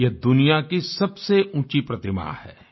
यह दुनिया की सबसे ऊँची प्रतिमा है